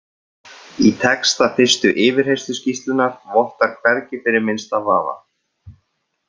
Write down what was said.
Í texta fyrstu yfirheyrsluskýrslunnar vottar hvergi fyrir minnsta vafa.